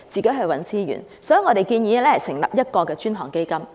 因此，我們建議成立過渡性房屋專項基金。